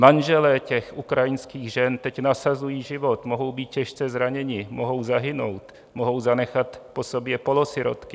Manželé těch ukrajinských žen teď nasazují život, mohou být těžce zraněni, mohou zahynout, mohou zanechat po sobě polosirotky.